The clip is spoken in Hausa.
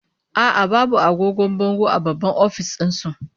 A'a, babu agogon bango a babban office din su